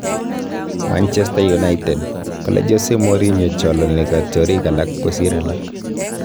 Manchester United: Kale Jose Mourinho chalani katyarik alage kosir alak